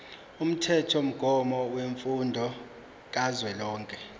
umthethomgomo wemfundo kazwelonke